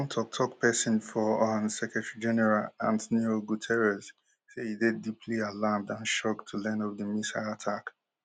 one toktok pesin for un secretary general antnio guterres say e dey deeply alarmed and shocked to learn of di missile attack